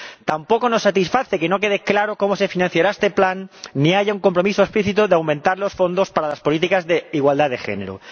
Tampoco nos satisface que no quede claro cómo se financiará este Plan, ni que no haya un compromiso explícito de aumentar los fondos para las políticas de igualdad de género.